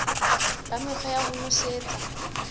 ba mekgwa ya ho nosetsa